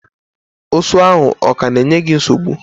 Ụsụ ahụ ọ ka na-enye gị nsogbu?